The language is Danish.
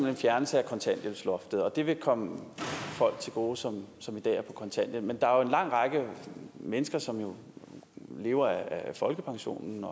en fjernelse af kontanthjælpsloftet og det vil komme folk til gode som som i dag er på kontanthjælp men der er jo en lang række mennesker som lever af folkepensionen